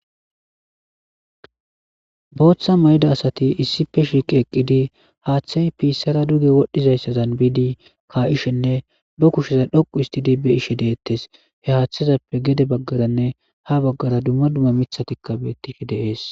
booththa mayda asati issife shiiqi eqqidi haaththey piissara duge wodhdhizayssazan biidi kaa7ishenne ba kusheza dhoqu istidi be ishe deettes he haaththezappe gede baggaranne ha baggara dumma dumma mithatikka beettifi deees